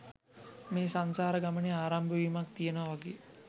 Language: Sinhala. මේ සංසාර ගමනේ ආරම්භ වීමක් තියෙනවා වගේ